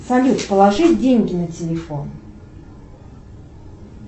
салют положи деньги на телефон